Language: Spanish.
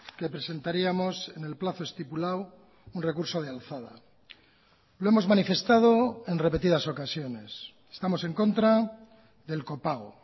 que presentaríamos en el plazo estipulado un recurso de alzada lo hemos manifestado en repetidas ocasiones estamos en contra del copago